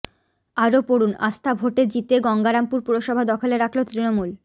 আরও পড়ুন আস্থা ভোটে জিতে গঙ্গারামপুর পুরসভা দখলে রাখল তৃণমূল